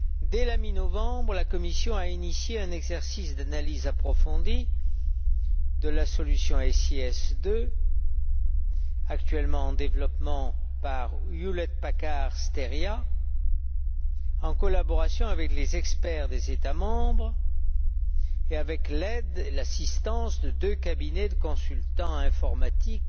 Dès la mi novembre, la Commission a initié un exercice d'analyse approfondie de la solution SIS II, actuellement en développement par Hewlett Packard Steria, en collaboration avec les experts des États membres et avec l'aide et l'assistance de deux cabinets de consultants informatiques